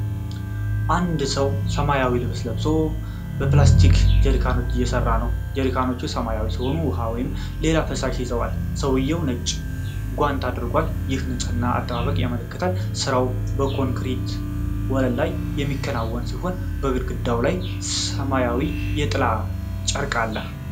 አንድ ሰው ሰማያዊ ልብስ ለብሶ በፕላስቲክ ጀሪካኖች እየሰራ ነው። ጀሪካኖቹ ሰማያዊ ሲሆኑ ውሃ ወይም ሌላ ፈሳሽ ይዘዋል። ሰውየው ነጭ ጓንት አድርጓል፣ ይህም የንፅህና አጠባበቅን ያመለክታል። ሥራው በኮንክሪት ወለል ላይ የሚከናወን ሲሆን በግድግዳው ላይ ሰማያዊ የጥላ ጨርቅ አለ።